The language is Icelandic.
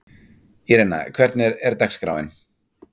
Írena, hvernig er dagskráin?